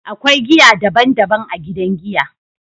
akwai giya daban daban a gidan giya.